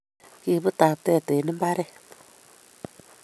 Kibut taptet eng mbaret